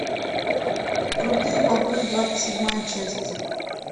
крутые бобры двадцать седьмая часть